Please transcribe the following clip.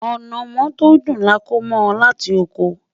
anamó tó dùn là kò bó láti okò